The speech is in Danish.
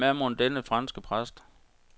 Hvem er mon denne franske præst.